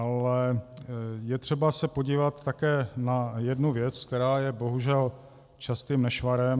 Ale je třeba se podívat také na jednu věc, která je bohužel častým nešvarem.